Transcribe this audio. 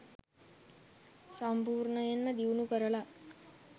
සම්පූර්ණයෙන්ම දියුණු කරල